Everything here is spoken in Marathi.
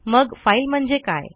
मग फाईल म्हणजे काय